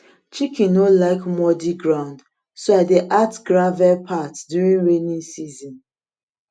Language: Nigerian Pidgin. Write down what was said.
chicken no like muddy ground so i dey add gravel path during rainy season